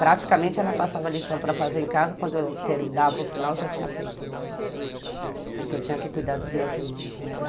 Praticamente, ela passava lição para fazer em casa, quando eu dava o sinal, eu já tinha feito a lição, porque eu tinha que cuidar dos meus irmãos